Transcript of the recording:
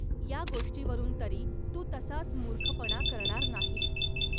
या गोष्टीवरून तरी तू तसाच मूर्खपणा करणार नाहीस.